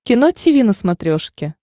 кино тиви на смотрешке